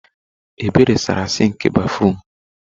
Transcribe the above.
Ebube saara sịnkị béfrụm.